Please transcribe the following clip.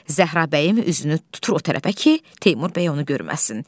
Zəhra bəyim üzünü tutur o tərəfə ki, Teymur bəy onu görməsin.